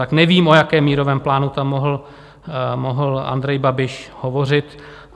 Tak nevím, o jakém mírovém plánu tam mohl Andrej Babiš hovořit.